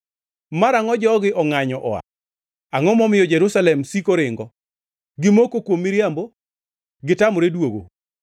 Marangʼo jogi ongʼanyo oa? Angʼo momiyo Jerusalem siko ringo? Gimoko kuom miriambo; gitamore duogo.